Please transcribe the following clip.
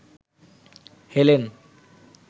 Helen